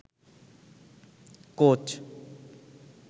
coach